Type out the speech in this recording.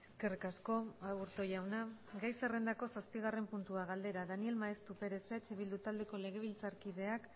eskerrik asko aburto jauna gai zerrendako zazpigarrena puntua galdera daniel maeztu perez eh bildu taldeko legebiltzarkideak